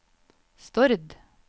Stord